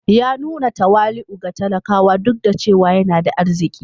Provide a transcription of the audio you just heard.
Ya nuna tawali'u ga talakawa, duk da cewa yana da arziki